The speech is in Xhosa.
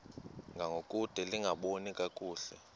ngangokude lingaboni kakuhle